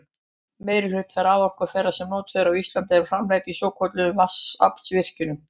meirihluti raforku þeirrar sem notuð er á íslandi er framleidd í svokölluðum vatnsaflsvirkjunum